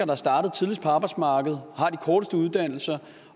er startet tidligst på arbejdsmarkedet og har de korteste uddannelser